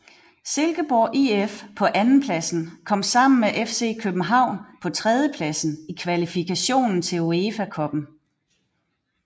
Silkeborg IF på andenpladsen kom sammen med FC København på tredjepladsen i kvalifikation til UEFA Cuppen